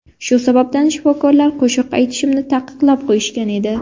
Shu sababdan shifokorlar qo‘shiq aytishimni taqiqlab qo‘yishgan edi.